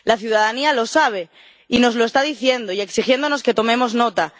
La ciudadanía lo sabe y nos lo está diciendo y exigiéndonos que tomemos nota.